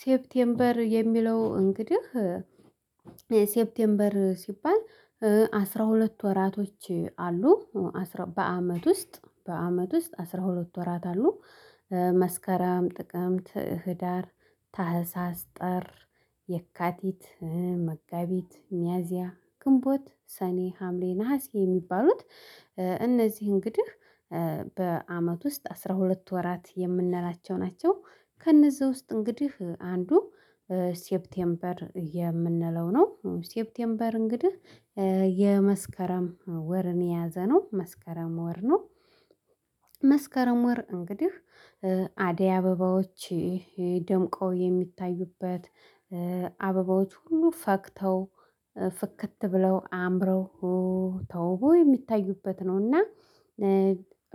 ሴፕቴምበር የሚለው እንግዲህ ሴፕቴምበር ሲባል አስራ ሁለት ወራቶች አሉ። በአመት ውስጥ በአመት ውስጥ አስራ ሁለት ወራት አሉ። መስከረም ጥቅምት ህዳር ታህሳስ ጥር የካቲት መጋቢት ሚያዚያ ግንቦት ሰኔ ሀምሌ ነሀሴ የሚባሉት እነዚህ እንግዲህ በአመት ውስጥ አስራ ሁለት ወራት የምንላቸው ናቸው። ከእነዚህ ውስጥ እንግዲህ አንዱ ሴፕቴምበር የምንለው ነው። ሴፕቴምበር እንግዲህ የመስከረም ወርን የያዘ ነው መስከረም ወር ነው። መስከረም ወር እንግዲህ አደይ አበባዎች ደምቀው የሚታዩበት አበባዎች ሁሉ ፈክተው ፍክት ብለው አምረው ተውቦ የሚታዩበት ነውና።